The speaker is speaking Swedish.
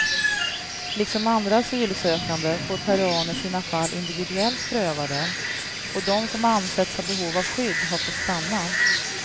Liksom andra asylsökande får peruaner sina fall individuellt prövade, och de som ansetts ha behov av skydd har fått stanna.